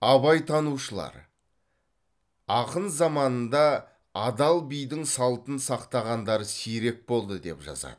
абайтанушылар ақын заманында адал бидің салтын сақтағандар сирек болды деп жазады